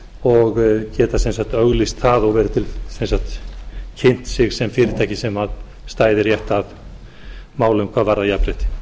og geta sem sagt auglýst það og kynnt sig sem fyrirtæki sem stæðu rétt að málum hvað varðar jafnrétti